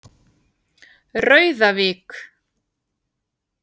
Rauðavík